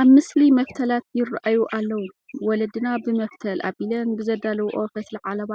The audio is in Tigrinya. ኣብዚ ምስሊ መፍተላት ይርአዩ ኣለዉ፡፡ ወለድና ብመፍተል ኣቢለን ብዘዳልውኦ ፈትሊ ዓለባ